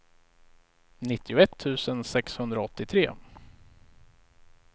nittioett tusen sexhundraåttiotre